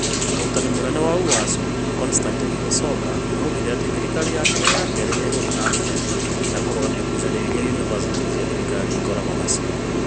Mwandiki mũnene wa ũASũ Constantine Wasonga oigire atĩ thirikari yake ya kerĩ nĩ ĩgũthiĩ na mbere na kũrũgamia ngucanio iria yunivasĩtĩ cia thirikari ikoragwo nacio.